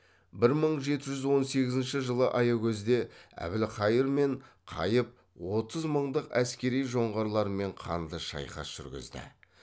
бір мың жеті жүз он сегізінші жылы аякөзде әбілқайыр мен қайып отыз мыңдық әскери жоңғарларымен қанды шайқас жүргізді